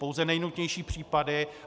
Pouze nejnutnější případy.